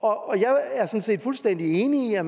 jeg set fuldstændig enig i at